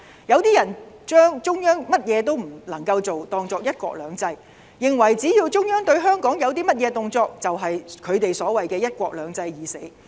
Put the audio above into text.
有些人把中央甚麼都不能夠做當作"一國兩制"，認為只要中央對香港有甚麼動作，便是他們所謂的"一國兩制"已死。